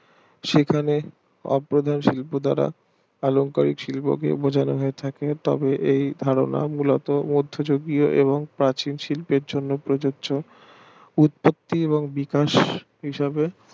সেখানে অপ্রধান শিল্প দ্বারা আলংকারিক শিল্পকে বোঝানো হয় থাকে তবে এই ধারণা মূলত মদ্ধ যুগীও এবং প্রাচীন শিল্পের জন্য প্রযোজ্য উৎপত্তি এবং বিকাশ হিসাবে